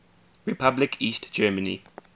republic east germany